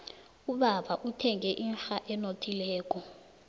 ubaba uthenge inrha enothileko